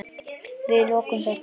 Að lokum þetta.